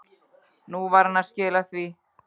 Nú var hann að skila því.